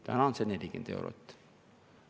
Täna on see 40 eurot.